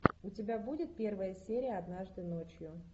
у тебя будет первая серия однажды ночью